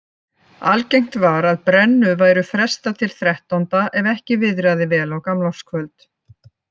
Algengt var að brennu væri frestað til þrettánda ef ekki viðraði vel á gamlárskvöld.